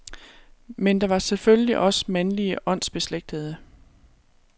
Men der var selvfølgelig også mandlige åndsbeslægtede.